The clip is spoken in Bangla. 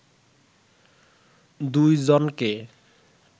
দুই জনকে